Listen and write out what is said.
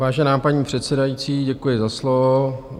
Vážená paní předsedající, děkuji za slovo.